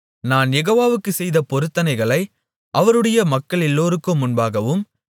நான் யெகோவாவுக்குச் செய்த பொருத்தனைகளை அவருடைய மக்களெல்லோருக்கும் முன்பாகவும்